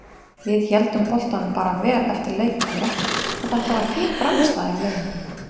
Við héldum boltanum bara vel eftir leikhlé og þetta var fín frammistaða hjá liðinu.